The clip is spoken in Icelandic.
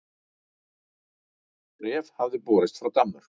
Bréf hafði borist frá Danmörku.